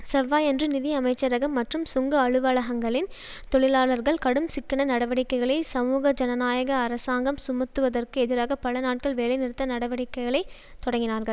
செவ்வாயன்று நிதி அமைச்சரகம் மற்றும் சுங்க அலுவலகங்களின் தொழிலாளர்கள் கடும் சிக்கன நடவடிக்கைகளை சமூக ஜனநாயக அரசாங்கம் சுமத்துவதற்கு எதிராக பல நாட்கள் வேலைநிறுத்த நடவடிக்கைகளை தொடங்கினார்கள்